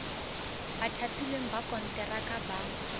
ba thapilweng ka konteraka ba